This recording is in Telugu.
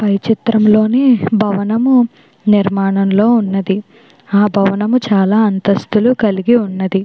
చిత్రంలోని భవన నిర్మాణంలో ఉన్నది. ఆ భవనము చాలా అంతస్తులు కలిగి ఉన్నది.